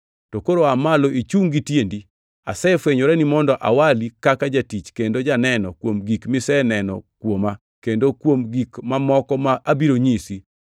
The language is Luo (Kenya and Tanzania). To koro aa malo ichungʼ gi tiendi. Asefwenyorani mondo awali kaka jatich kendo janeno kuom gik miseneno kuoma kendo kuom gik mamoko ma abiro nyisi.